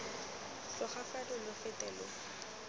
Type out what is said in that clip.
tloga fano lo fete lo